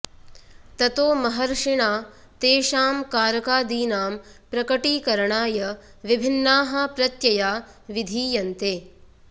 ततो महर्षिणा तेषां कारकादीनां प्रकटीकरणाय विभिन्नाः प्रत्यया विधीयन्ते